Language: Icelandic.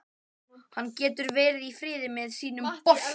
Hann getur verið í friði með sinn bolta.